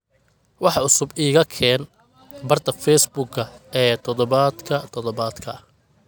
wax cusub iiga keen barta facebook-ga ee todobaadka todobaadka